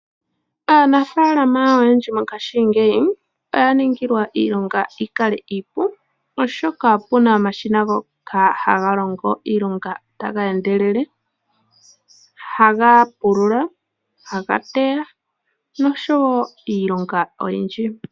Aanafaalama oyendji mongaashingeyi oya ningilwa iilonga yikale iipu, oshoka opuna omashina ngoka haga longo iilonga taga endelele, haga pulula, haga teya noshowo iilonga oyindji.